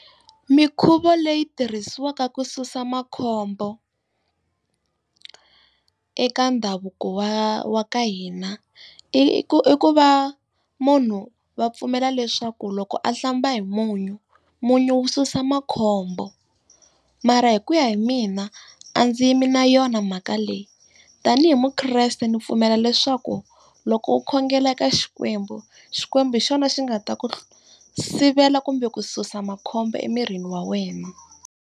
Minkhuvo leyi tirhisiwaka ku susa makhombo eka ndhavuko wa wa ka hina i i ku i ku va munhu va pfumela leswaku loko a hlamba hi munyu, munyu susa makhombo. Mara hi kuya hi mina, a ndzi yi mi na yona mhaka leyi. Tanihi mukreste ndzi pfumela leswaku loko u khongela eka Xikwembu, Xikwembu hi xona xi nga ta ku sivela kumbe ku susa makhombo emirini wa wena.